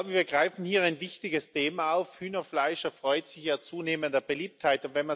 Wir greifen hier ein wichtiges Thema auf. Hühnerfleisch erfreut sich ja zunehmender Beliebtheit.